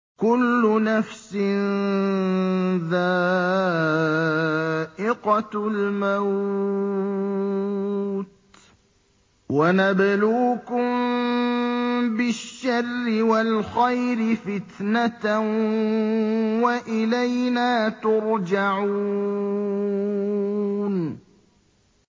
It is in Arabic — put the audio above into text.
كُلُّ نَفْسٍ ذَائِقَةُ الْمَوْتِ ۗ وَنَبْلُوكُم بِالشَّرِّ وَالْخَيْرِ فِتْنَةً ۖ وَإِلَيْنَا تُرْجَعُونَ